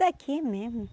daqui mesmo.